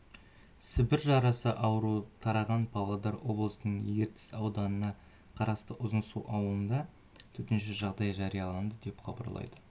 сібір жарасы ауруы тараған павлодар облысының ертіс ауданына қарасты ұзынсу ауылында төтенше жағдай жарияланды деп хабарлайды